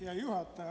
Hea juhataja!